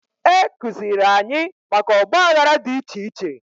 Ekuziri anyị maka Ọgba aghara dị iche iche